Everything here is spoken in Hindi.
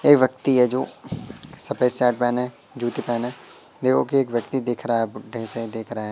एक व्यक्ति है जो सफेद शर्ट पहने जूते पहने खड़े हो के एक व्यक्ति दिख रहा है बुड्ढे से दिख रहा है।